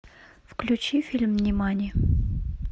включи фильм нимани